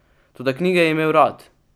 Toda knjige je imel rad.